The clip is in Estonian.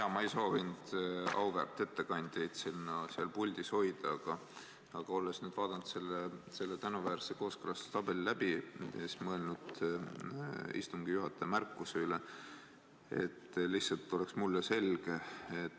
Jaa, ma ei soovinud auväärt ettekandjaid puldis hoida, aga olles nüüd vaadanud selle tänuväärse kooskõlastustabeli läbi ja siis mõelnud istungi juhataja märkuse üle,, et lihtsalt oleks mulle selge.